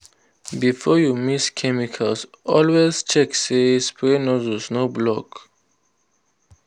before you mix chemical always check say spray nozzle no block.